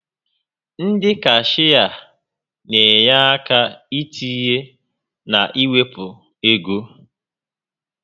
Ndị cashịa n'enye àkà itinye na iwepụ égo